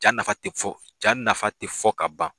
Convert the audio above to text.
Jan nafa tɛ fɔ ja nafa tɛ fɔ ka ban